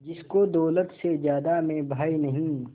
जिसको दौलत से ज्यादा मैं भाई नहीं